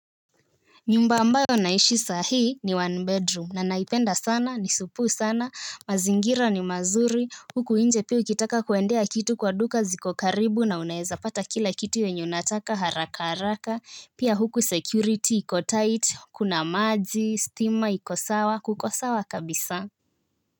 Nyumba ambayo naishi sahi ni one bedroom na naipenda sana ni supu sana mazingira ni mazuri huku nje pia ukitaka kuendea kitu kwa duka ziko karibu na unaeza pata kila kitu yenye unataka haraka haraka pia huku security iko tight kuna maji stima iko sawa kuko sawa kabisa.